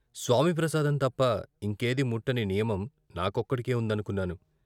స్వామి ప్రసాదం తప్ప ఇంకేదీ ముట్టని నియమం నా కొక్కడికే ఉందనుకున్నాను.